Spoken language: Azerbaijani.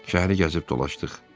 Şəhəri gəzib dolaşdıq.